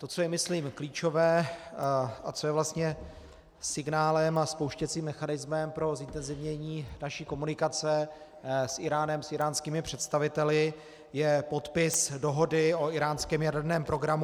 To, co je myslím klíčové a co je vlastně signálem a spouštěcím mechanismem pro zintenzivnění naší komunikace s Íránem, s íránskými představiteli, je podpis dohody o íránském jaderném programu.